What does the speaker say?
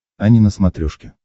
ани на смотрешке